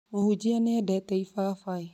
Mũhunjia nĩ endete ifafai